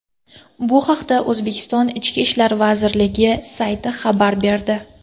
Bu haqda O‘zbekiston Ichki ishlar vazirligi sayti xabar berdi .